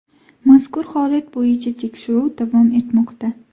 Mazkur holat bo‘yicha tekshiruv davom etmoqda.